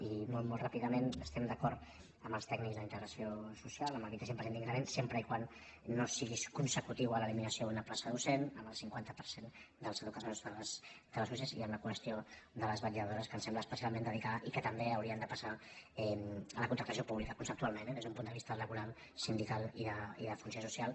i molt molt ràpidament estem d’acord amb els tècnics d’integració social amb el vint cinc per cent d’increment sempre que no sigui consecutiu a l’eliminació d’una plaça docent amb el cinquanta per cent dels educadors de les usee i amb la qüestió de les vetlladores que ens sembla especialment delicada i que també haurien de passar a la contractació pública conceptualment eh des d’un punt de vista laboral sindical i de funció social